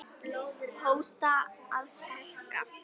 hóta að sparka